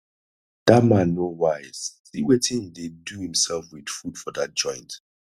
dat man no wise see wetin he dey do himself with food for dat joint